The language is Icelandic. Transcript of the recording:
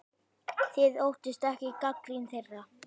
Þið óttist ekki gagnrýni þeirra?